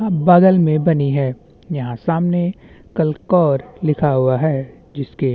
अब बगल में बनी है यहाँ सामने कल कौर लिखा हुए है जिसके --